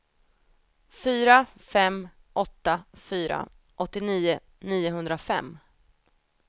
fyra fem åtta fyra åttionio niohundrafem